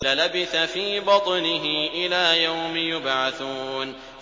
لَلَبِثَ فِي بَطْنِهِ إِلَىٰ يَوْمِ يُبْعَثُونَ